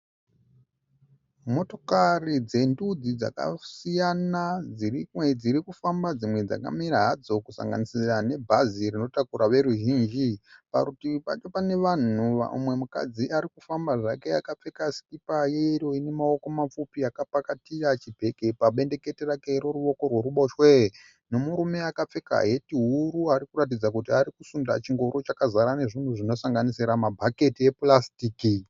Motokari dzendudzi dzakasiyana dzirikufamba dzimwe dzakamira hadzo kusanganisira nebhazi rinotakura veruzhinji , parutivi pacho pane vanhu, umwe mukadzi arikufamba zvake akapfeka sikipa yeyero ine maoko mapfupi akapakatira chibhegi pabendekete rake reruoko rwerubosho nemurume akapfeka heti huru arikuratidza kuti arikuenda chingoro chakazara zvinhu zvinosanganisira mabhaketi epurasitiki.